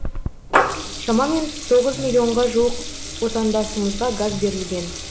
шамамен тоғыз миллионға жуық отандасымызға газ берілген